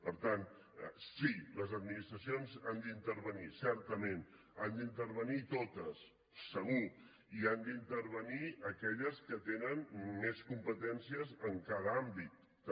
per tant sí les administracions han d’intervenir certament han d’intervenir totes segur i han d’intervenir aquelles que tenen més competències en cada àmbit també